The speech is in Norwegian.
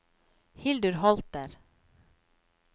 Hildur Holter